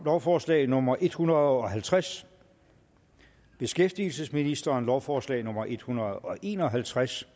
lovforslag nummer en hundrede og halvtreds beskæftigelsesministeren lovforslag nummer en hundrede og en og halvtreds